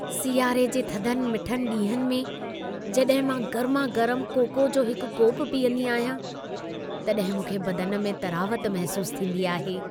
सियारे जे थधनि मिठनि ॾींहंनि में जॾहिं मां गर्मा-गरम कोको जो हिकु कोपु पीअंदी आहियां, तॾहिं मूंखे बदन में तरावत महसूसु थींदी आहे।